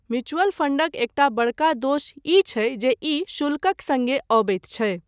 Mutual फंडक एकटा बड़का दोष ई छै जे ई शुल्कक सङ्गे अबैत छै।